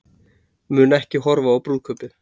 Mun ekki horfa á brúðkaupið